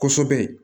Kosɛbɛ